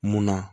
Munna